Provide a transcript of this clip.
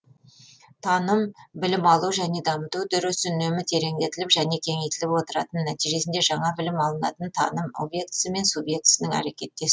таным білім алу және дамыту үдерісі үнемі тереңдетіліп және кеңейтіліп отыратын нәтижесінде жаңа білім алынатын таным объектісі мен субъектісінің әрекеттесуі